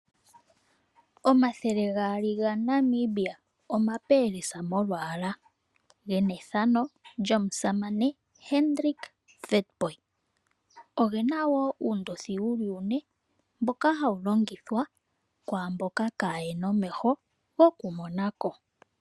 Omathele gaali ga Namibia, omapelesa molwaala, gena ethano lyomusamane Hendrick Witbooi. Ogena woo uundothi wuli uune, mboka hawu longithwa kwaamboka kayena omeho go ku monako.